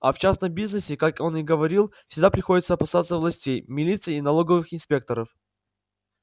а в частном бизнесе как он говаривал всегда приходится опасаться властей милиции и налоговых инспекторов